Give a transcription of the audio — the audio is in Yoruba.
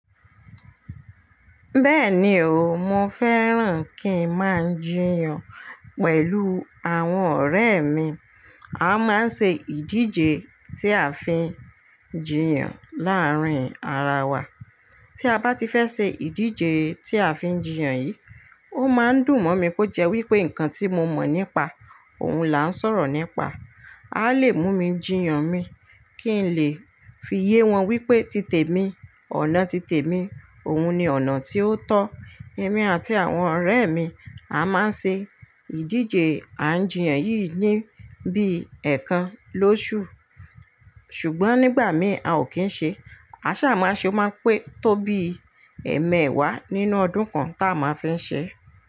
Bẹ́ẹ̀ni o, mo fẹ́ràn kí n máa ń jiyàn pẹ̀lú àwọn ọ̀rẹ́ mi. A máa ń ṣe ìdíje tí a fi ń jiyàn láàárín ara wa. Tí a bá ti fẹ́ ṣe ìdíje tí a fi ń jiyàn yìí, ó máa ń dùn mọ́ mi kó jẹ́ wípé ǹkan tí mo mọ̀ nípa òun là ń sọ̀rọ̀ nípa, a lè mú mi jiyàn mi kí n lè fi yé wọn wípé tite mi, ọ̀nà tite mi, òun ni ọ̀nà tí ó tọ́. Èmi àti àwọn ọ̀rẹ́ mi a máa ń ṣe ìdíje à ń jiyàn yìí ní bí ẹ̀ẹ̀kan lóṣù. Ṣùgbọ́n nígbà mi a ò kí ń ṣe, a sá máa ṣe ó máa pé tó bí ẹẹmẹẹwàá nínú ọdún kan tá a máa fi ń ṣe.